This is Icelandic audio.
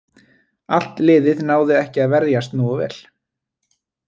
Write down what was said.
Allt liðið náði ekki að verjast nógu vel.